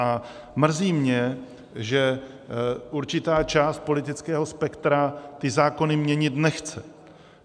A mrzí mě, že určitá část politického spektra ty zákony měnit nechce.